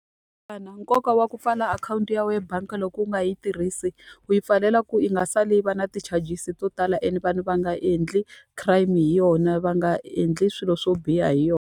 nkoka wa ku pfala akhawunti ya wena bangi loko u nga hi tirhisi, u yi pfalela ku yi nga sali yi va na ti-charges to tala ene vanhu va nga endli crime hi yona, va nga endli swilo swo biha hi yona.